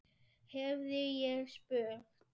hefði ég spurt.